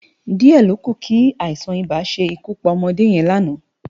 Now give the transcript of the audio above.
Di è lókú ki áisán-ibá ṣé kú pá òmòdé yèn láná